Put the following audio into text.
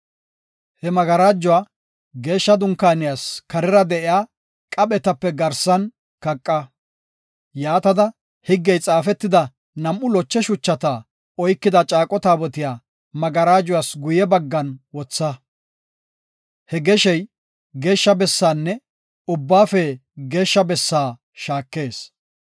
He magarajuwa Geeshsha Dunkaaniyas kaaran de7iya qaphetape garsan kaqa. Yaatada higgey xaafetida nam7u loche shuchata oykida Caaqo Taabotiya magarajuwas guye baggan wotha. He geshey, Geeshsha Bessaanne Ubbaafe Geeshsha Bessaafe shaakees.